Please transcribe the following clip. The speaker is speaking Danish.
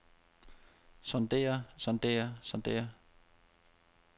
sondrer sondrer sondrer